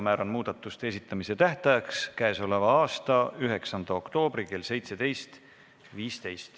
Määran muudatuste esitamise tähtajaks k.a 9. oktoobri kell 17.15.